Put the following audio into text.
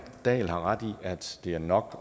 dahl har ret i at det er nok